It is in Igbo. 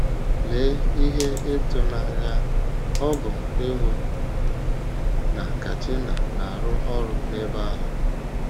Lee ihe ịtụnanya ọ bụ ịhụ na Katina na - arụ ọrụ n’ebe ahụ!